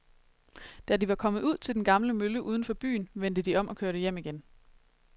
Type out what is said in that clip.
Da de var kommet ud til den gamle mølle uden for byen, vendte de om og kørte hjem igen.